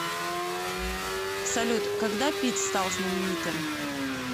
салют когда питт стал знаменитым